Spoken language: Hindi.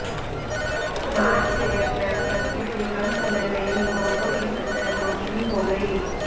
मार्च से अप्रैल तक इतने कम समय में ही मौतों की संख्या दोगुनी हो गई